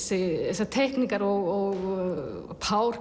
þessar teikningar og